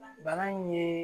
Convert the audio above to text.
Bana in ye